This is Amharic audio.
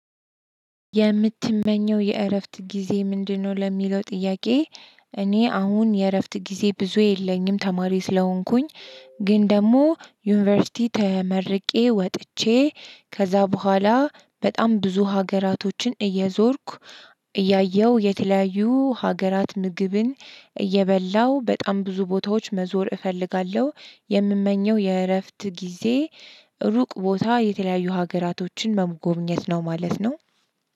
የምትመኘው የእረፍት ጊዜ ምንድነው? ለሚለው ጥያቄ እኔ አሁን የእረፍት ጊዜ ብዙ የለኝም ተማሪዎች ስለሆንኩኝ። ግን ደግሞ ዩኒቨርሲቲ ተመርቄ ወጥቼ ከዛ በኋላ በጣም ብዙ ሀገራቶችን እየዞርኩ እያየሁ የተለያዩ ሀገራት ምግብን እየበላው በጣም ብዙ ቦታዎች መዞር እፈልጋለሁ። የምመኘው የእረፍት ጊዜ ሩቅ ቦታ የተለያዩ ሀገራቶችን መጎብኘት ነው ማለት ነው።